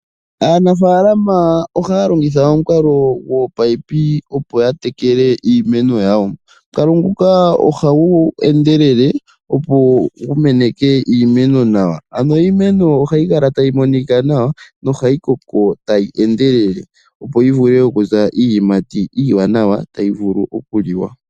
Aanafaalama ohaya longitha omukalo gwominino opo ya tekele iimeno yawo . Omukalo nguka ohagu endelele opo meneke iimeno nawa ano iimeno ohayi kala tayi monika nawa nohayi koko tayi endelele opo yivule oku eta iiyimati iiwanawa tayi vulu okuliwa.